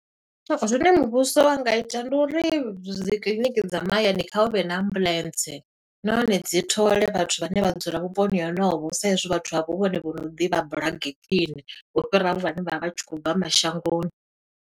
Zwine muvhuso wa nga ita, ndi uri dzi kiḽiniki dza mahayani kha hu vhe na ambuḽentse. Nahone dzi thole vhathu vhane vha dzula vhuponi honovho, sa i zwi vhathu avho hu vhone vho no ḓivha bulege khwiṋe. U fhira vhane vha vha vha tshi khou bva mashangoni.